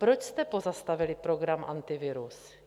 Proč jste pozastavili program Antivirus?